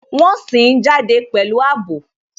Wọn sìn ín jáde pẹ̀lú àbò